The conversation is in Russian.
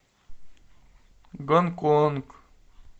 гонконг